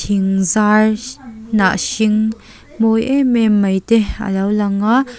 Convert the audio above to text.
zai hnah hring mawi em em mai te alo lang a.